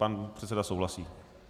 Pan předseda souhlasí.